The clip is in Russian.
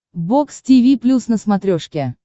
бокс тиви плюс на смотрешке